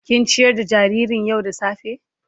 Kin ciyar da jaririn yau da safa.?